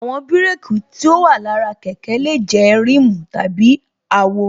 Àwọn bírékī tí ó wà lára kẹ̀kẹ́ lè jẹ́ rimu tàbí àwo